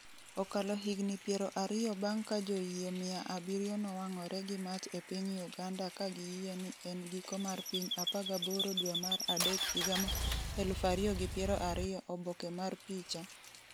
Okalo higni piero ariyo bang’ ka joyie mia abiriyo nowang’ore gi mach e piny Uganda ka giyie ni en giko mar piny 18 dwe mar adek higa mar 2020 Oboke mar picha, .